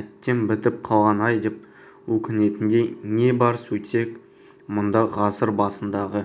әттең бітіп қалғаны-ай деп өкінетіндей не бар сөйтсек мұнда ғасыр басындағы